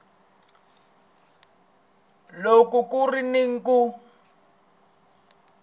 loko ku ri ni ku